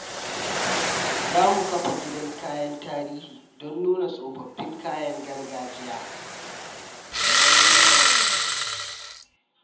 Za mu kafa gidan kayan tarihi don nuna tsofaffin kayayyakin gargajiya.